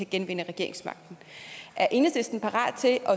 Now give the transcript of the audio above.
genvinde regeringsmagten er enhedslisten parat til at